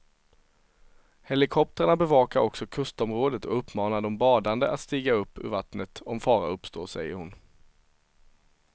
Helikoptrarna bevakar också kustområdet och uppmanar de badande att stiga upp ur vattnet om fara uppstår, säger hon.